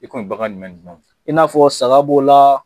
I ko nin baga jumɛn ni jumɛn i n'a fɔ saga b'o la